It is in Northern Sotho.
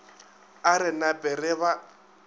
a re nape re ba